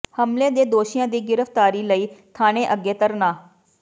ਹਮਲੇ ਦੇ ਦੋਸ਼ੀਆਂ ਦੀ ਗਿ੍ਫਤਾਰੀ ਲਈ ਥਾਣੇ ਅੱਗੇ ਧਰਨਾ